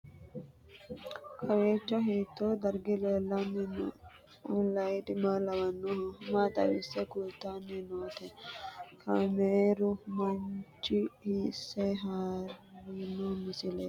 Kowiicho hiito dargi leellanni no ? ulayidi maa lawannoho ? maa xawisse kultanni noote ? kaameru manchi hiisse haarino misileeti?